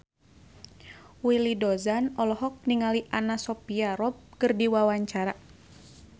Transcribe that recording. Willy Dozan olohok ningali Anna Sophia Robb keur diwawancara